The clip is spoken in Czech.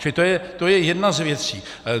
Čili to je jedna z věcí.